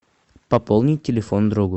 пополнить телефон другу